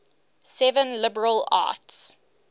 seven liberal arts